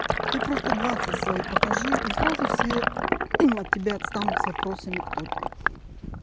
ты просто двадцать свои покажи и сразу все от тебя отстану с вопросами кто ты